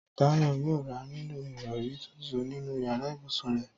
Táyọ̀ yóò ra nílò ìrọ̀rí tuntun nínú yàrá ibùsùn rẹ̀